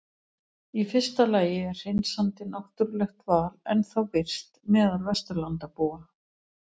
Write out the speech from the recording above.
Í fyrsta lagi er hreinsandi náttúrulegt val ennþá virkt meðal Vesturlandabúa.